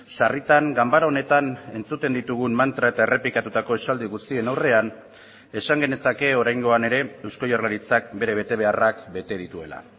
sarritan ganbara honetan entzuten ditugun mantra eta errepikatutako esaldi guztien aurrean esan genezake oraingoan ere eusko jaurlaritzak bere betebeharrak bete dituela